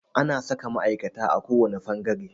Ana saka ma'aikata a kowane fangare.